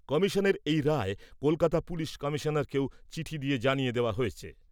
কমিশনের এই রায় কলকাতা পুলিশ কমিশনারকেও চিঠি দিয়ে জানিয়ে দেওয়া হয়েছে।